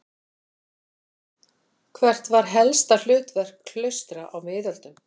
Hvert var helsta hlutverk klaustra á miðöldum?